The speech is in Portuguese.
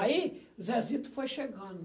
Aí, Zezito foi chegando.